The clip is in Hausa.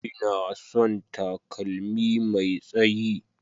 Ina son takalmi Mai tsayi.